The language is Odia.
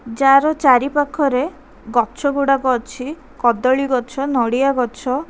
ଯାଆର ଚାରିପାଖରେ ଗଛ ଗୁଡ଼ାକ ଅଛି କଦଳୀ ଗଛ ନଡ଼ିଆ ଗଛ--